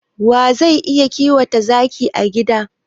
Wa zai iya kiwata zaki a gida?